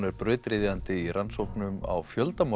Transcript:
er brautryðjandi í rannsóknum á